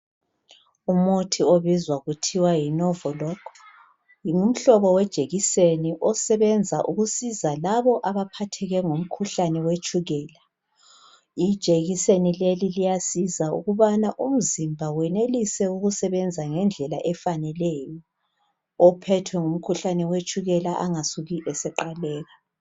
Umuthi obizwa kuthiwa yiNovoLog ngumhlobo wejekiseni osebenza ukusiza labo abaphatheke ngumkhuhlane wetshukela. ljekiseni leli liyasiza ukubana umzimba wenelise ukusebenza ngendlela efaneleyo ophethwe ngumkhuhlane wetshukela angasuki eseqhaleka.